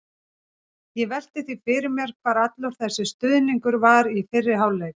Ég velti því fyrir mér hvar allur þessi stuðningur var í fyrri hálfleik?